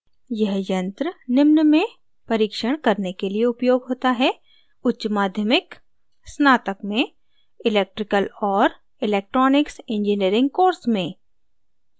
यह यंत्र निम्न में परीक्षण करने के लिए उपयोग होता है: